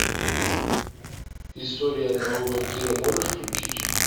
история одного вампира можешь включить